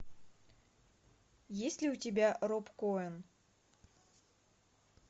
есть ли у тебя роб коэн